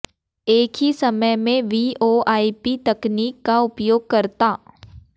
एक ही समय में वीओआईपी तकनीक का उपयोग करता